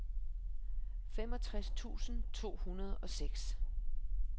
femogtres tusind to hundrede og seks